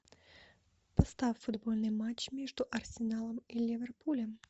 поставь футбольный матч между арсеналом и ливерпулем